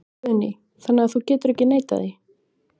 Guðný: Þannig að þú getur ekki neitað því?